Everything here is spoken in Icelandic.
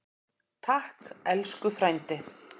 Takk elsku frændi.